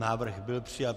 Návrh byl přijat.